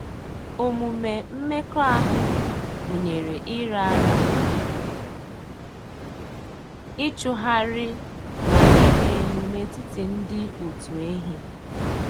Omume mmekọahụ gụnyere ịra ara, ịchụhari, na ịrị elu n'etiti ndị òtù ehi.